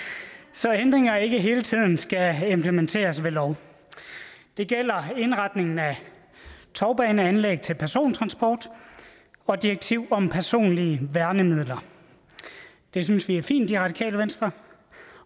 så ændringer ikke hele tiden skal implementeres ved lov det gælder indretningen af tovbaneanlæg til persontransport og direktiv om personlige værnemidler det synes vi er fint i radikale venstre